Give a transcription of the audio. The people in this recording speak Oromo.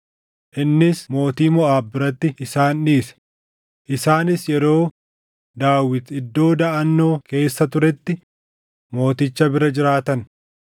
Innis mootii Moʼaab biratti isaan dhiise; isaanis yeroo Daawit iddoo daʼannoo keessa turetti mooticha bira jiraatan.